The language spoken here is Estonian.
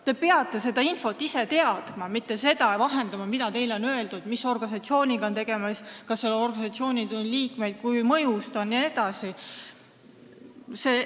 Te peate seda infot ise teadma, mitte vahendama seda, mida teile on öeldud, et mis organisatsiooniga on tegemist, kas seal organisatsioonis on liikmeid, kui mõjus ta on jne.